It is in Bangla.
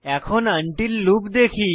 এখন আনটিল লুপ দেখি